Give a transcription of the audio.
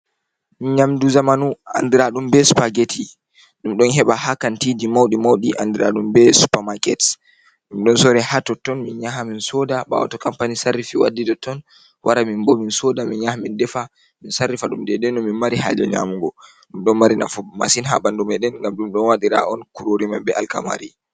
Nyamdu zamanu andiraɗum, be supergeti ɗum ɗon heɓa ha kantiji mauɗi mauɗi andiraɗum be supermarkets, ɗom ɗon sori ha totton, min nyaha min soda bawo to kampani sarrifi waddi totton, wara min bo min soda min nyaha min defa min sarrifa ɗum dede no min mari haje nyamugo, ɗum ɗon mari nafu bo masin ha bandumii ɗen ngam ɗum ɗon waɗira on kurorimam be alkamari.